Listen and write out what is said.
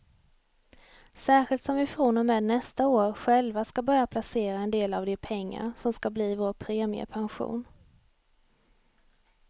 Särskilt som vi från och med nästa år själva ska börja placera en del av de pengar som ska bli vår premiepension.